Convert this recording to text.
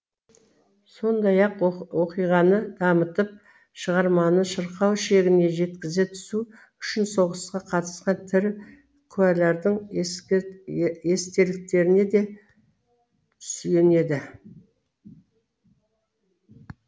сондай ақ оқиғаны дамытып шығарманы шырқау шегіне жеткізе түсу үшін соғысқа қатысқан тірі куәләрдің естеліктеріне де сүйенеді